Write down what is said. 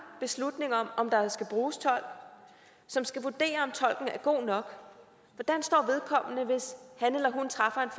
beslutning om om der skal bruges tolk som skal vurdere om tolken er god nok hvis han eller hun træffer